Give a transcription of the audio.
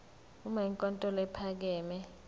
uma inkantolo ephakeme